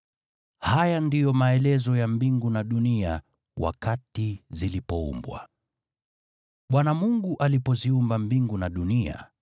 Haya ndiyo maelezo ya mbingu na dunia wakati zilipoumbwa. Bwana Mungu alipoziumba mbingu na dunia,